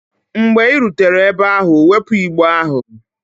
Mgbe ị rutere ebe ahụ, wepụ igbe ahụ!